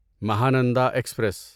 Mahananda express